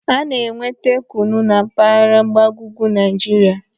Ana-enweta kunu na mpaghara mgbago ugwu Naijiria.